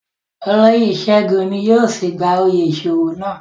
Oloyé Segun ni yóò si gba oyè iṣowo nàa